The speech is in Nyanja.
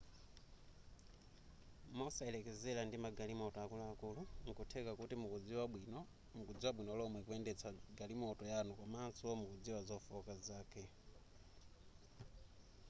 mosayelekeza ndi magalimoto akuluakulu nkutheka kuti mukudziwa bwino lomwe kuyendetsa galimoto yanu komanso mukudziwa zofooka zake